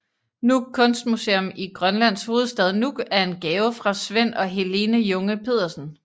Nuuk Kunstmuseum i Grønlands hovedstad Nuuk er en gave fra Svend og Helene Junge Pedersen